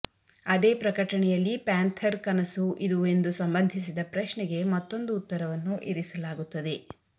ಅದೇ ಪ್ರಕಟಣೆಯಲ್ಲಿ ಪ್ಯಾಂಥರ್ ಕನಸು ಇದು ಎಂದು ಸಂಬಂಧಿಸಿದ ಪ್ರಶ್ನೆಗೆ ಮತ್ತೊಂದು ಉತ್ತರವನ್ನು ಇರಿಸಲಾಗುತ್ತದೆ